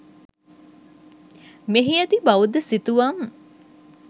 මෙහි ඇති බෞද්ධ සිතුවම්